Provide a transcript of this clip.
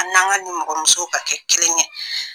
A n' an ka nimɔgɔmusow ka kɛ kelen ye.